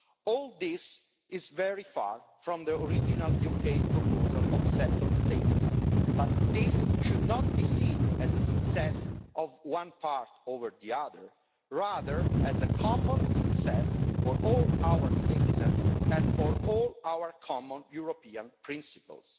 All this is very far from the original UK proposal of settled status', but this should not be seen as the success of one part over the other, but rather as a common success for all our citizens and for all our common European principles.